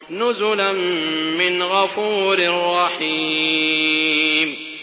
نُزُلًا مِّنْ غَفُورٍ رَّحِيمٍ